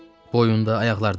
Boyunda, ayaqlarda?